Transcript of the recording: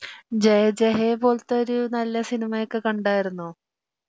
ജയ ജയ ഹേ പോലത്തെ ഒരു നല്ല സിനിമയൊക്കെ കണ്ടാർന്നോ ?